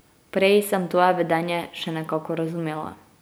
Prej sem tvoje vedenje še nekako razumela.